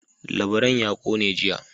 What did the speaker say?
Labaran ya kone jiya.